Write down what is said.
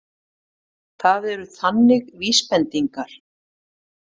Það eru þannig vísbendingar.